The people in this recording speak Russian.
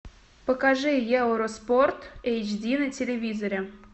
покажи евроспорт эйч ди на телевизоре